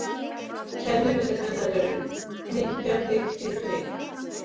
Kennimyndir hennar eru: hnykkja- hnykkti- hnykkt.